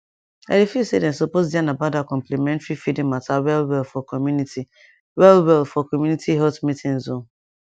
i dey feel say dem suppose yarn about dat complementary feeding mata wellwell for community wellwell for community health meetings o